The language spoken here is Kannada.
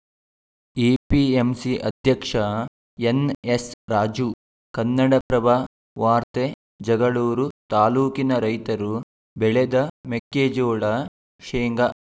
ಎಪಿಎಂಸಿ ಅಧ್ಯಕ್ಷ ಎನ್‌ಎಸ್‌ರಾಜು ಕನ್ನಡಪ್ರಭ ವಾರ್ತೆ ಜಗಳೂರು ತಾಲೂಕಿನ ರೈತರು ಬೆಳೆದ ಮೆಕ್ಕೆಜೋಳ ಶೆಂಗಾ